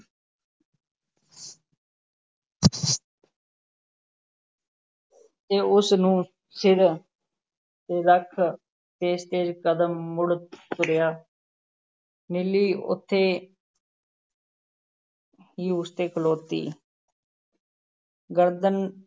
ਤੇ ਉਸ ਨੂੰ ਸਿਰ 'ਤੇ ਰੱਖ ਤੇਜ਼-ਤੇਜ਼ ਕਦਮ ਮੁੜ ਤੁਰਿਆ ਨੀਲੀ ਉੱਥੇ ਹੀ ਉੱਥੇ ਖਲੋਤੀ ਗਰਦਨ